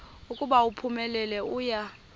ukuba uphumelele uya